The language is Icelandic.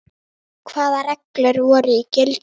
Hvaða reglur voru í gildi?